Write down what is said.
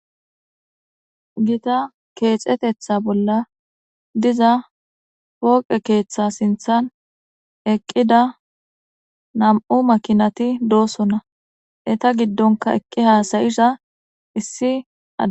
Gita keexetetha bolla diza pooqe keeththa sinthan eqqida nam7u makinati doosonna eta giddonka eqqi haasayisha issi a.